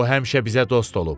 O həmişə bizə dost olub.